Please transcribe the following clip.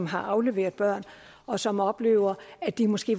har afleveret børn og som oplever at de måske